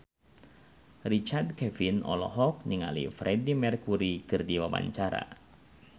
Richard Kevin olohok ningali Freedie Mercury keur diwawancara